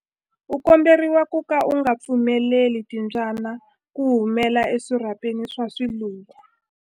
U komberiwa ku ka u nga pfumeleli timbyana ku humela eswirhapeni swa swiluva.